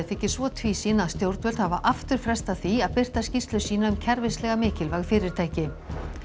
þykir svo tvísýn að stjórnvöld hafa aftur frestað því að birta skýrslu sína um kerfislega mikilvæg fyrirtæki